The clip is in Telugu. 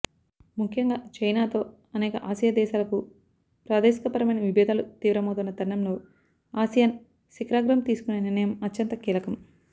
ముఖ్యంగా చైనాతో అనేక ఆసియా దేశాలకు ప్రాదేశికపరమైన విభేదాలు తీవ్రమవుతున్న తరుణంలో ఆసియాన్ శిఖరాగ్రం తీసుకునే నిర్ణయం అత్యంత కీలకం